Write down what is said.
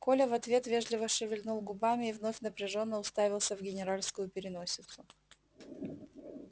коля в ответ вежливо шевельнул губами и вновь напряжённо уставился в генеральскую переносицу